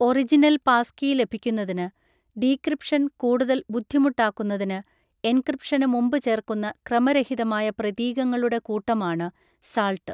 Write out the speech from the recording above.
Original passkey ലഭിക്കുന്നതിന്, decryption കൂടുതൽ ബുദ്ധിമുട്ടാക്കുന്നതിന്, എൻക്രിപ്‌ഷന് മുമ്പ് ചേർക്കുന്ന ക്രമരഹിതമായ പ്രതീകങ്ങളുടെ കൂട്ടമാണ് 'സാൾട്ട്'.